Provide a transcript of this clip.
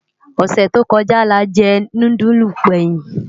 Osè tó kòjá lájè núdúlú gbèyin